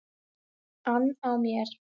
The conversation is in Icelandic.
ann á mér.